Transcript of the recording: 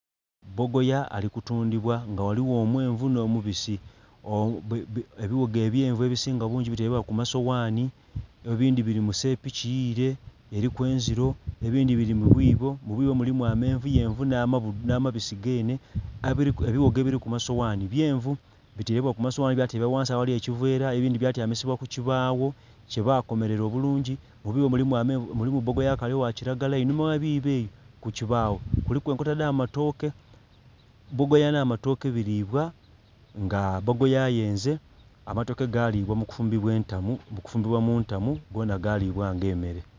Bogoya ali kutundhibwa nga ghaligho omwenvu nh'omubisi ebighogo ebyenvu ebisinga bungi biteleibwa ku masoghanhi, ebindhi bili mu sepiki yiile eliku enzilo, ebindhi bili mu bwiibo, mu bwiibo mulimu amenvuyenvu na nhamabisi geenhe. Ebighogo biliku masoghanhi byenvu biteleibwa ku masoghanhi bya tebwa ghansi aghali ekiveela, ebindhi bya tyamisibwa ku kibaagho kye baakomelela obulungi. Mu biibo mulimu bogoya akaali ogha kilagala. Einhuma gh'ebiibo ebyo ku kibaagho, kuliku enkota dh'amatooke. Bogoya nh'amatooke biliibwa, nga bogoya ayenze, amatooke gaalibwa mu kufumbibwa entamu, mu kufumbibwa mu ntamu gonha gaalibwa ng'emmere.